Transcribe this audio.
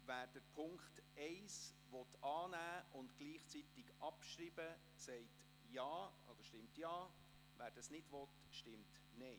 Wer den Punkt 1 annehmen und gleichzeitig abschreiben will, stimmt Ja, wer dies nicht will, stimmt Nein.